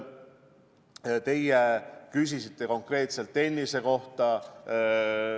Te küsisite konkreetselt tennise kohta.